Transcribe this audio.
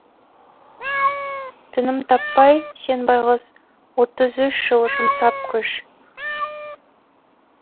тыным таппай сен байғұс отыз үш жыл жұмсап күш